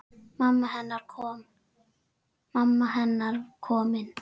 Mamma hennar komin.